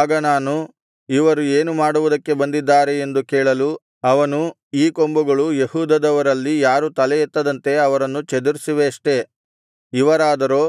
ಆಗ ನಾನು ಇವರು ಏನು ಮಾಡುವುದಕ್ಕೆ ಬಂದಿದ್ದಾರೆ ಎಂದು ಕೇಳಲು ಅವನು ಈ ಕೊಂಬುಗಳು ಯೆಹೂದದವರಲ್ಲಿ ಯಾರೂ ತಲೆಯೆತ್ತದಂತೆ ಅವರನ್ನು ಚದುರಿಸಿವೆಯಷ್ಟೆ ಇವರಾದರೋ